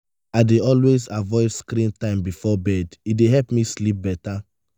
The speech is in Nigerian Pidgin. i dey always avoid screen time before bed; e dey help me sleep better.